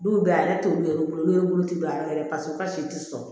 Don bɛɛ ale t'olu ye olu bolo don ne bolo tɛ don a la yɛrɛ paseke kasi tɛ sɔn